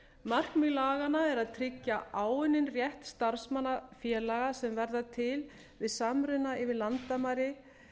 markmið laganna er að tryggja áunninn rétt starfsmanna félaga sem verða til við samruna yfir landamæri